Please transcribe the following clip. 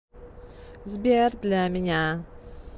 сбер для меня